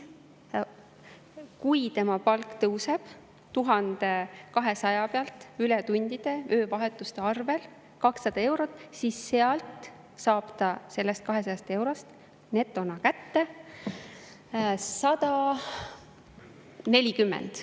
Kui tema palk tõuseb 1200 pealt tänu ületundidele, öövahetustele 200 eurot, siis saab ta sellest 200 eurost netona kätte 140.